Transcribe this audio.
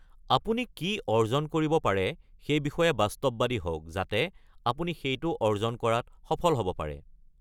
আপুনি কি অৰ্জন কৰিব পাৰে সেই বিষয়ে বাস্তৱবাদী হওক যাতে আপুনি সেইটো অৰ্জন কৰাত সফল হ'ব পাৰে।